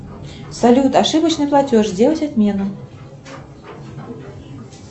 салют ошибочный платеж сделать отмену